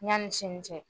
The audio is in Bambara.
Yanni sini cɛ